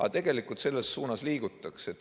Aga tegelikult selles suunas liigutakse.